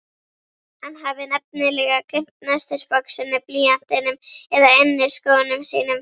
Hann hafi nefnilega gleymt nestisboxinu, blýantinum eða inniskónum sínum.